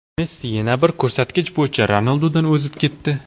Messi yana bir ko‘rsatkich bo‘yicha Ronaldudan o‘zib ketdi.